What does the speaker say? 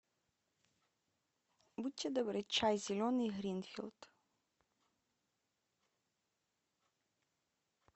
будьте добры чай зеленый гринфилд